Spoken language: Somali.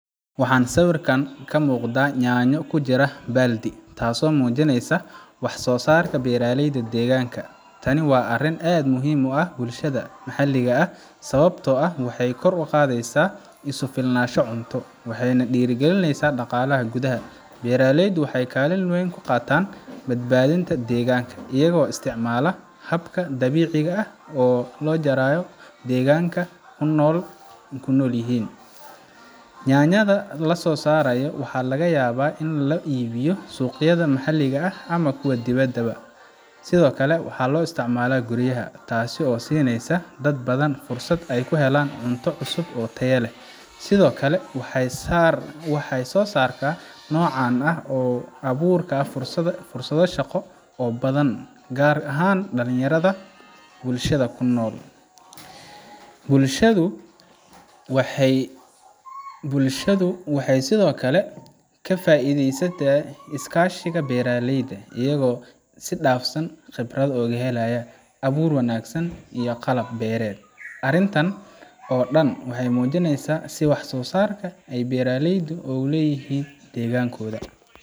waxaa sawirkaan ka muqdaa nyaanyo kujira baaldi taaso mujineysa wax soo sarka beeraleyda deeganka tani waa arin aad muhim u ah bulshada maxalliga ah sababtoo ah waxay kor uqadeysaa isufilnaasho cunto waxay nah dhiirigalineysaa dhaqaala gudaha, beraleydu waxay kaalin weyn kaqataan badbaadinta dheganka iyagoo istcimaala habka dhabiciga ah oo loo jaraayo dhegaanka kunolyihiin, nyanyada lasoo sarayo waxa laga yabaa in laga iibiyo suqyada maxaliga ah ama kuwa dhibada bo ah, sidokale waxaa loo isticmala guriyaha taasi oo sineysa dad badan fursat ay kuhelaan cunto cusub oo taya leh sidokale waxay soo sartaa nooca abuurka fursada shaqo oo badan gaar ahaan dhalinyarada bulshada kunool bulshadu waxay sidokale ka faideysataa iskaashiga beeraleyda iyagoo si dhafsan khibrado oga helayaa abuur wanagsan iyo qalab bereet, arintan oo dhan waxay mujineysaa si wax soo saarku ay beeraleyda oogu leyihiin dhegaan kooda.